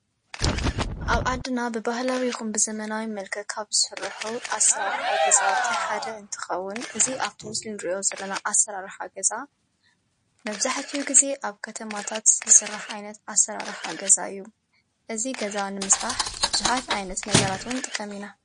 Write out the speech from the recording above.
ኣብ ዓድና ብበህላዊኹም ብዘመናዊ መልከ ካብ ዝሠርሑ ዓሠራርሕ ገዛዊተሓደ እንትኸውን እዙይ ኣብቶምስልንርእዮ ዘለና ዓሠርሕ ኣገዛ መብዛሕትዩ ጊዜ ኣብ ከተማታት ዝሠራሕ ዓይነት አሠራሕ ገዛዩ እዙይ ገዛን ምስ ራሕ ብዙኃት ኣይነት ነገራትውን ጥቀሚኢና::